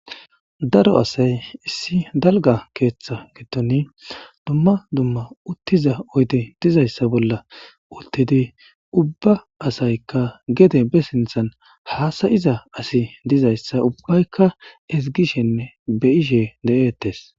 Daro asay issi dalgga keetha giddoni dumma dumma uttiza oydey dizayssa bolla uttidi ubba asaykka gede be sinthan haasa7iza asi dizayssa ubbayka ezggishenne be7ishe de7eettes.